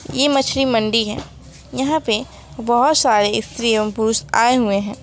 ये मछली मंडी है यहां पे बहुत सारे स्त्री एवं पुरुष आए हुए हैं।